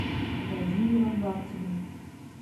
владимиром лаптевым